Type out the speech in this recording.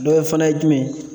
Dɔ ye fana ye jumɛn ye?